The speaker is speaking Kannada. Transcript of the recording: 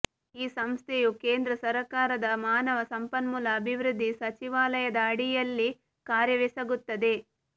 ಈ ಸಂಸ್ಥೆಯು ಕೇಂದ್ರ ಸರಕಾರದ ಮಾನವ ಸಂಪನ್ಮೂಲ ಅಭಿವೃದ್ಧಿ ಸಚಿವಾಲಯದ ಅಡಿಯಲ್ಲಿ ಕಾರ್ಯವೆಸಗುತ್ತದೆ